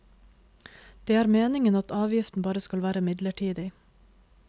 Det er meningen at avgiften bare skal være midlertidig.